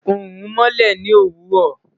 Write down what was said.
Oorun nmọlẹ ni owurọ